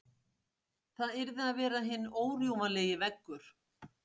Það yrði að vera hinn órjúfanlegi veggur.